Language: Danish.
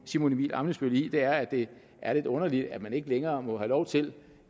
simon emil ammitzbøll i er at det er lidt underligt at man ikke længere må have lov til